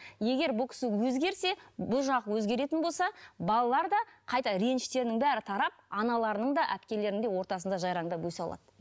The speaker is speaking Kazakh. егер бұл кісі өзгерсе бұл жақ өзгеретін болса балалар да қайта реніштерінің бәрі тарап аналарының да әпкелерінің де ортасында жайраңдап өсе алады